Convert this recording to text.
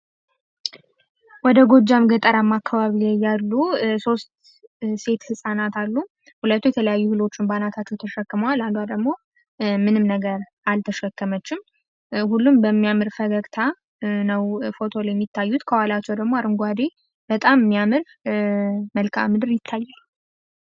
ወደ ጎጃም ገጠራማ አካባቢ ያሉ ሶስት ሴት ህፃናት አሉ። ሁለቱ የተለያዩ እህሎችን በአናተቸው ተሸክመዋል። አንዷ ደግሞ ምንም ነገር አልተሸከመችም። ሁሉም በሚያምር ፈገግታ ነው ፎቶ ላይ የሚታዩት ከኋላቸው ደግሞ አረንጓዴ በጣም የሚያምር መልካአምድር ይታያል።